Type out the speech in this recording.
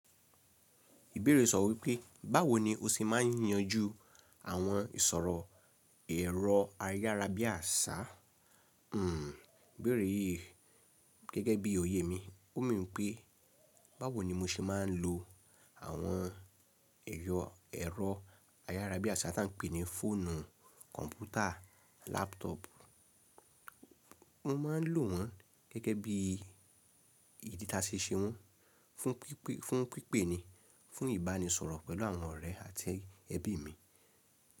Ìbéèrè sọ wípé báwo ni o ṣe máa ń yanjú àwọn ìsọ̀rọ̀ ẹ̀rọ ayárabíàṣá. Hmm ìbéèrè yìí gẹ́gẹ́ bí òye mi, ó mean wípé báwo ni mo ṣe máa ń lo àwọn ẹ̀yọ ẹ̀rọ ayárabíàṣá tí à ń pè ní fóònù, kọ̀ǹpútà, lápútọ̀ọ̀pù. Mo máa ń lò wọ́n gẹ́gẹ́ bí ìdí táṣe ṣe wọ́n fún pípé ni, fún ìbánisọ̀rọ̀ pẹ̀lú àwọn ọ̀rẹ́ àti ẹbí mi.